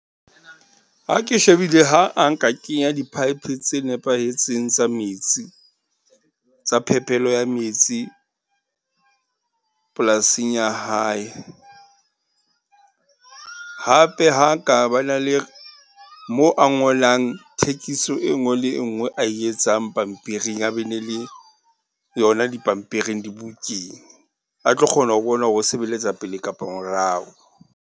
Ha ke shebile ha a nka kenya di-pipe tse nepahetseng tsa metsi, tsa phepelo ya metsi polasing ya hae. Hape ha a ka ba na le moo a ngolang thekiso e nngwe le nngwe a e etsang pampiring a be ne le yona dipampiring dibukeng. A tlo kgona ho bona hore o sebeletsa pele kapa morao.